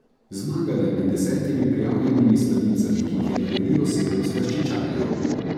Zmagala je med desetimi prijavljenimi sladicami, ki jih je naredilo sedem slaščičarjev.